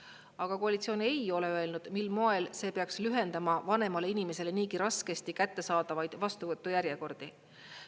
Aga koalitsioon ei ole öelnud, mil moel see peaks lühendama vanemale inimesele niigi raskesti kättesaadava vastuvõtu järjekordi.